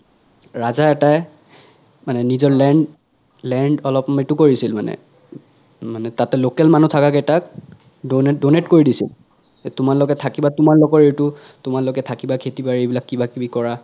ৰাজা এটাই মানে নিজৰ land land অলপ এইতো কৰিছিল মানে মানে তাতে local মানুহ থাকা কেইতাত donate donate কৰি দিছিল যে তোমালোকে থাকিবা তোমালোকৰ এইতো তোমালোকে থাকিবা খেতি বাৰি বিলাক কিবা কিবি কৰা